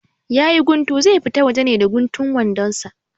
Yayi guntu, zai fita waje ne da guntun wandon sa?